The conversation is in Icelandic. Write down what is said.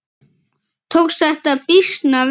Tókst þetta býsna vel.